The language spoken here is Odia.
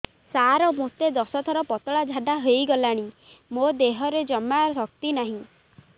ସାର ମୋତେ ଦଶ ଥର ପତଳା ଝାଡା ହେଇଗଲାଣି ମୋ ଦେହରେ ଜମାରୁ ଶକ୍ତି ନାହିଁ